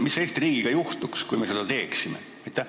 Mis Eesti riigiga juhtuks, kui me seda teeksime?